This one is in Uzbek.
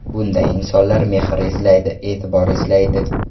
Bunday insonlar mehr izlaydi, e’tibor izlaydi.